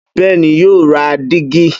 Bẹ́ẹ́ni, yóò ra dígí.